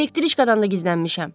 Elektriçkadan da gizlənmişəm.